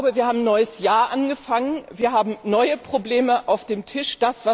Wir haben ein neues Jahr angefangen, wir haben neue Probleme auf dem Tisch.